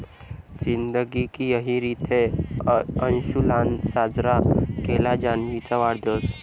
जिंदगी की यही रित है... अंशुलानं साजरा केला जान्हवीचा वाढदिवस!